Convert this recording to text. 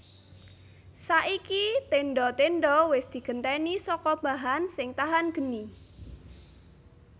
Saiki tendha tendha wis digenti saka bahan sing tahan geni